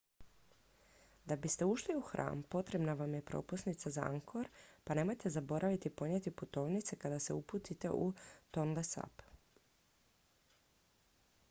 da biste ušli u hram potrebna vam je propusnica za angkor pa nemojte zaboraviti ponijeti putovnicu kada se zaputite u tonle sap